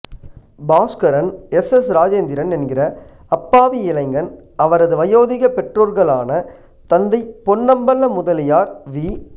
Bhaskaran S S Rajendran என்கிற அப்பாவி இளைஞன் அவரது வயோதிக பெற்றோர்களான தந்தை பொன்னம்பல முதலியார் வி